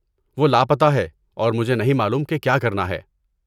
وہ لاپتہ ہے اور مجھے نہیں معلوم کہ کیا کرنا ہے۔